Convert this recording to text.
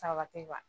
Sabati wa